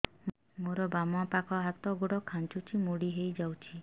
ମୋର ବାମ ପାଖ ହାତ ଗୋଡ ଖାଁଚୁଛି ମୁଡି ହେଇ ଯାଉଛି